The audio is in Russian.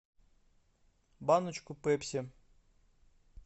баночку пепси